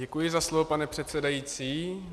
Děkuji za slovo, pane předsedající.